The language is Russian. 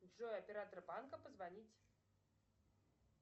джой оператор банка позвонить